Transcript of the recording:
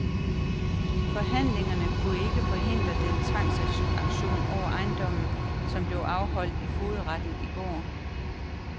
Forhandlingerne kunne ikke forhindre den tvangsauktion over ejendommen, som blev afholdt i fogedretten i går.